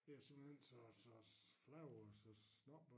Det simpelthen så så flabet og så snobbet